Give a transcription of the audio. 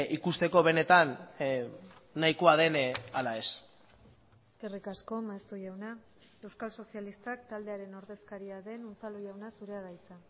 ikusteko benetan nahikoa den ala ez eskerrik asko maeztu jauna euskal sozialistak taldearen ordezkaria den unzalu jauna zurea da hitza